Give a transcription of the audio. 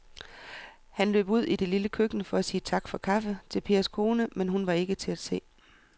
Han løb ud i det lille køkken for at sige tak for kaffe til Pers kone, men hun var ikke til at se.